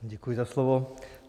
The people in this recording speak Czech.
Děkuji za slovo.